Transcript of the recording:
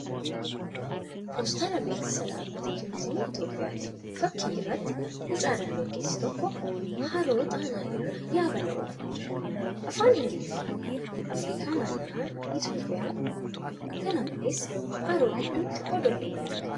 Poostara beeksisaa dhaabbata turiizimii Itiyoophiyaati. Fakki irratti mucaa dargaggeessi tokko haroo xaanaa irra yaabala oofaa jira. Afaan Ingiliffaan' Afrikaa naanna'aa , Itiyoophiyaa, Hara Xaanaa' kan jedhu barreefamee jira. Kana malees, haroo gidduutti odolli ni argama.